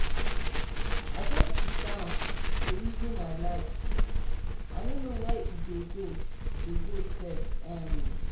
i just siddon dey resin my life i no know where e dey dey go sef. um